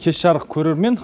кеш жарық көрермен